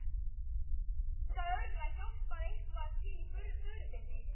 Ég get líka örugglega hjálpað eitthvað til í Furufirði.